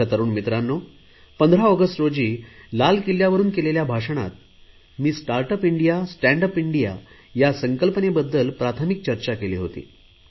माझ्या तरुण मित्रांनो 15 ऑगस्ट रोजी लाल किल्ल्यावरुन केलेल्या भाषणात मी start up India stand up India या संकल्पनेबद्दल प्राथमिक चर्चा केली होती